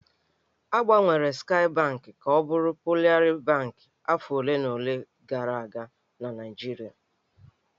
A gbanwere Skaị Bankị ka ọ bụrụ Polaris Bankị afọ ole na ole gara aga na Naịjirịa.